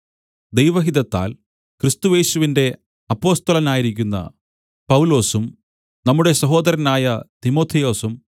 ദൈവഹിതത്താൽ ക്രിസ്തുയേശുവിന്റെ അപ്പൊസ്തലനായിരിക്കുന്ന പൗലൊസും നമ്മുടെ സഹോദരനായ തിമൊഥെയോസും